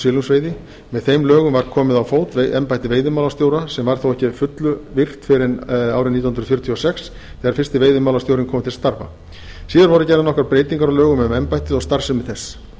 silungsveiði með þeim lögum var komið á fót embætti veiðimálastjóra sem þó varð ekki að fullu virkt fyrr en nítján hundruð fjörutíu og sex þegar fyrsti veiðimálastjórinn kom til starfa síðar voru gerðar nokkrar breytingar á lögum um embættið og starfsemi þess